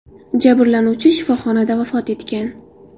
Jabrlanuvchi shifoxonada vafot etgan.